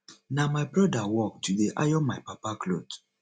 na my broda work to dey iron my papa cloth